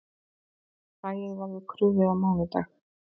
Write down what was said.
Hræið verður krufið á mánudag